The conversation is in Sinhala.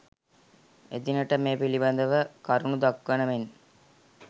එදිනට මේ පිළිබඳව කරුණු දක්වන මෙන්